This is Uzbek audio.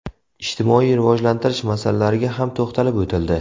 Ijtimoiy rivojlantirish masalalariga ham to‘xtalib o‘tildi.